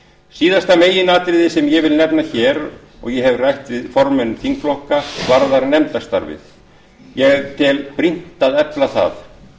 síðasta meginatriðið sem ég vil nefna hér og ég hef rætt við formenn þingflokka varðar nefndastarfið en ég tel brýnt að efla það